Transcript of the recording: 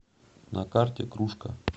на карте кружка